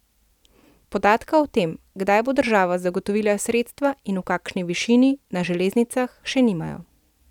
Podatka o tem, kdaj bo država zagotovila sredstva, in v kakšni višini, na železnicah še nimajo.